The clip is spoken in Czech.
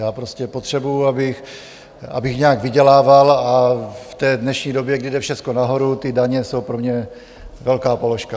Já prostě potřebuji, abych nějak vydělával, a v té dnešní době, kdy jde všecko nahoru, ty daně jsou pro mě velká položka.